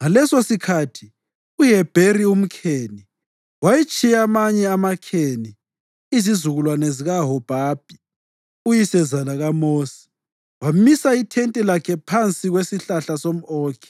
Ngalesosikhathi uHebheri umKheni wayetshiye amanye amaKheni, izizukulwane zikaHobhabhi, uyisezala kaMosi, wamisa ithente lakhe phansi kwesihlahla somʼOkhi